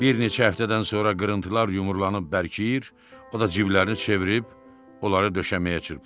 Bir neçə həftədən sonra qırıntılar yumrulanıb bərkiyir, o da ciblərin çevirib onları döşəməyə çırpırdı.